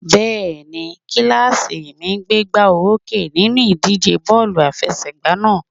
Bẹ́ẹ̀ni, kílàsì mi gbégbá olókè nínú ìdíje bọ́ọ̀lù àfẹsẹ̀gbá náà